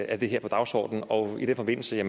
er det her på dagsordenen og i den forbindelse vil